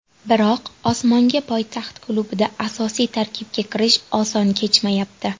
Biroq Ostonga poytaxt klubida asosiy tarkibga kirish oson kechmayapti.